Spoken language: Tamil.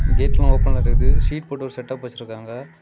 கேட்லா ஓபன்ல இருக்குது ஷீட் போட்டு ஒரு செட்டப் வெச்சிருக்காங்க.